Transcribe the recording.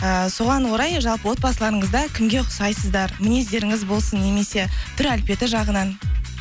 эээ соған орай жалпы отбасыларыңызда кімге ұқсайсыздар мінездеріңіз болсын немесе түр әлпеті жағынан